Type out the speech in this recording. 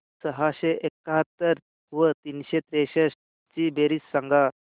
सहाशे एकाहत्तर व तीनशे त्रेसष्ट ची बेरीज सांगा